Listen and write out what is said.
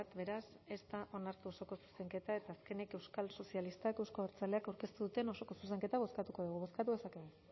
beraz ez da onartu osoko zuzenketa eta azkenik euskal sozialistak euzko abertzaleak aurkeztu duten osoko zuzenketa bozkatuko dugu bozkatu dezakegu